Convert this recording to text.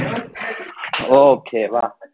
okay વા